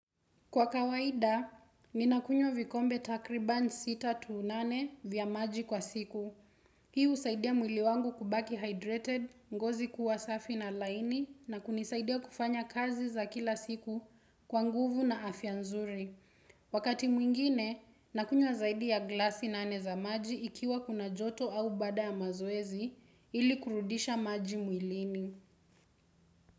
Kwa kawaida, ninakunywa vikombe takriban sita to nane vya maji kwa siku. Hiu husaidia mwili wangu kubaki hydrated, ngozi kuwa safi na laini na kunisaidia kufanya kazi za kila siku kwa nguvu na afya nzuri. Wakati mwingine, nakunywa zaidi ya glasi nane za maji ikiwa kuna joto au baada ya mazoezi ili kurudisha maji mwilini.